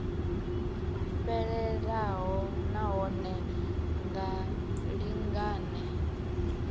fhelelaho na hone vha lingane